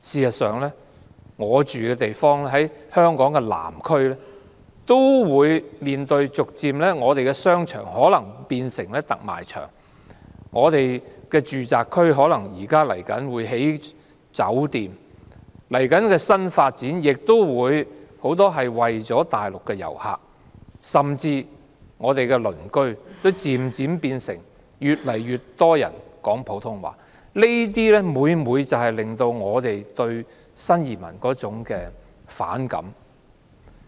我居住的地方在香港南區，我們的商場也可能逐漸變成特賣場，我們的住宅區可能會興建酒店，而接着的新發展很多也是為大陸遊客而設；我們的鄰居，也越來越多人說普通話，這些每每形成我們對新移民的反感。